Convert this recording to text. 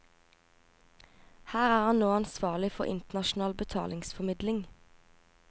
Her er han nå ansvarlig for internasjonal betalingsformidling.